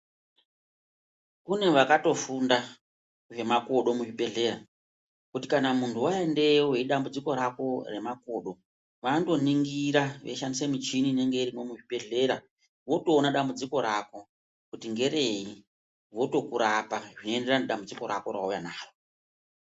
Kune vakatofunda zvemakodo muzvibhedhlera kuti kana muntu waendeyo nedambudziko rako remakodo vanoto ningira veishandisa michini inenge irimwo muzvibhedhlera votoona dambudziko rako kuti ngereye votoku rapa zveyi enderana nedambudziko rako rawauya naro.